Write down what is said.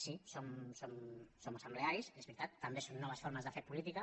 sí som assemblearis és veritat també són noves formes de fer política